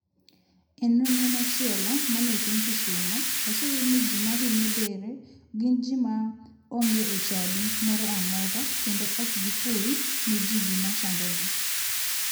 E nonro machielo mane otim kisumo, oseyudi ni ji mahinyo dere gin ji ma onge e chadi moro amora kendo ok giful ne ji gima chandogi.